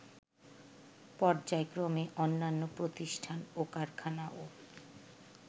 পর্যায়ক্রমে অন্যান্য প্রতিষ্ঠান ও কারখানাও